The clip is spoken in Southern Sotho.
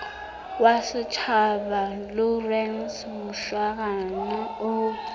wa setjhaba lawrence mushwana o